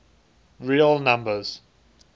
real numbers